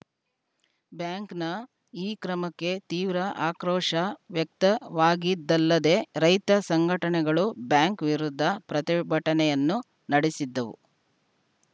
ಬ್ಯಾಂಕ್‌ನ ಈ ಕ್ರಮಕ್ಕೆ ತೀವ್ರ ಆಕ್ರೋಶ ವ್ಯಕ್ತವಾಗಿದ್ದಲ್ಲದೆ ರೈತ ಸಂಘಟನೆಗಳು ಬ್ಯಾಂಕ್‌ ವಿರುದ್ಧ ಪ್ರತಿಭಟನೆಯನ್ನೂ ನಡೆಸಿದ್ದವು